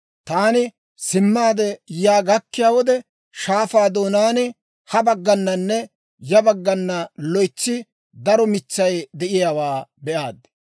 Taani simmaade yaa gakkiyaa wode, shaafaa doonaan ha baggananne ya baggana loytsi daro mitsay de'iyaawaa be'aad.